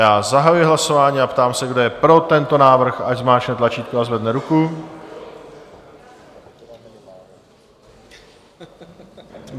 Já zahajuji hlasování a ptám se, kdo je pro tento návrh, ať zmáčkne tlačítko a zvedne ruku.